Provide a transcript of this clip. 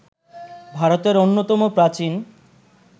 ভারতের অন্যতম প্রাচীন